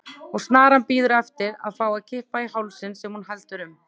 Og snaran bíður eftir að fá að kippa í hálsinn sem hún heldur um.